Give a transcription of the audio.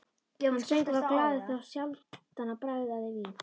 Hann söng og var glaður, þá sjaldan hann bragðaði vín.